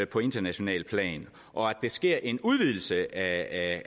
på internationalt plan og at der sker en udvidelse af